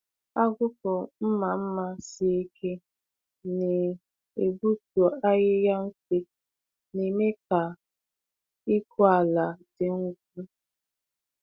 Agụkpụ mma mma sie ike na-egbutu ahịhịa mfe, na-eme ka ịkụ ala dị ngwa.